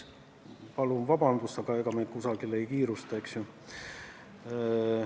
Palun vabandust, aga ega me kusagile ei kiirusta, eks ju.